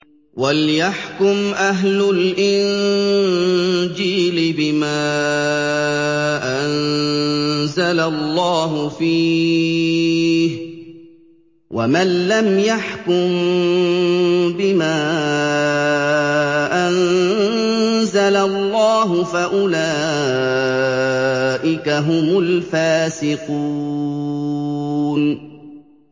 وَلْيَحْكُمْ أَهْلُ الْإِنجِيلِ بِمَا أَنزَلَ اللَّهُ فِيهِ ۚ وَمَن لَّمْ يَحْكُم بِمَا أَنزَلَ اللَّهُ فَأُولَٰئِكَ هُمُ الْفَاسِقُونَ